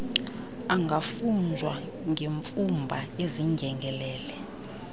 angafunjwa ngemfumba ezindyengelele